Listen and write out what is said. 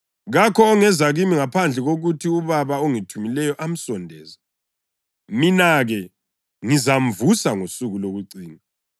Kakho ongeza kimi ngaphandle kokuthi uBaba ongithumileyo amsondeze, mina-ke ngizamvusa ngosuku lokucina.